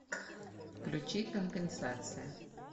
включи компенсация